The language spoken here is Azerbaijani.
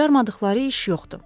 Bacarmadıqları iş yoxdur.